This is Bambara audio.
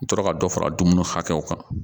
N tora ka dɔ fara dumuni hakɛw kan